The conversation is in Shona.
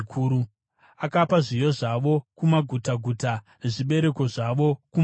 Akapa zviyo zvavo kumagutaguta nezvibereko zvavo kumhashu.